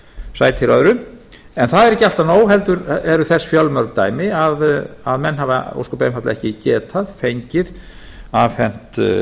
sætir öðru en það er ekki alltaf nóg heldur eru þess fjölmörg dæmi að menn hafa ósköp einfaldlega ekki getað fengið afhent